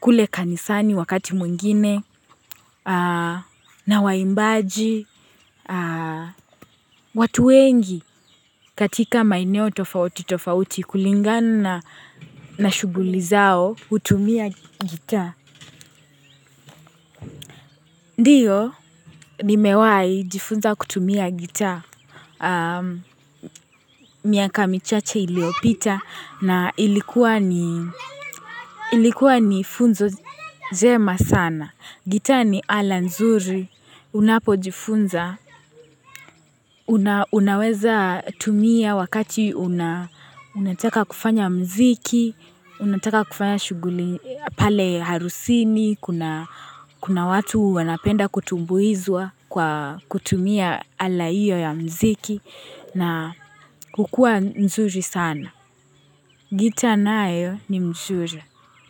kule kanisani wakati mwingine na waimbaji. Watu wengi katika maeneo tofauti tofauti kulingana na shughuli zao kutumia gitaa ndio nimewahi jifunza kutumia gitaa miaka michache iliyopita na ilikuwa ni funzo njema sana. Gitaa ni ala nzuri unapojifunza unaweza tumia wakati unataka kufanya muziki, unataka kufanya shughuli pale harusini, kuna watu wanapenda kutumbuizwa kwa kutumia ala hiyo ya muziki na hukua nzuri sana. Gitaa nayo ni mzuri.